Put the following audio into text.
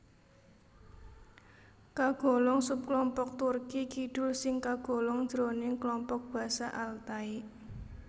Kagolong subklompok Turki Kidul sing kagolong jroning klompok basa Altai